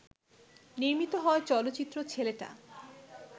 নির্মিত হয় চলচ্চিত্র ‘ছেলেটা’